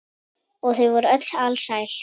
Og þau voru öll alsæl.